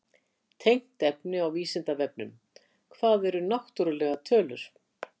Tengt efni á Vísindavefnum: Hvað eru náttúrlegar tölur?